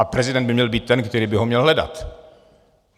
A prezident by měl být ten, který by ho měl hledat.